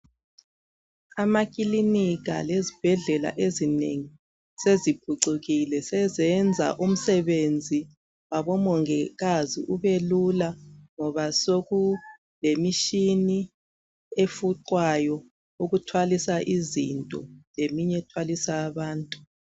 Izibhedlela lamaclinikhi amanengi seziphucukile seziyenza umsebenzi wabo dokotela labo mongikazi ube lula ngoba sokuleshini efuqwayo ukuthwalisa izinto lemunye ethwalisa abantu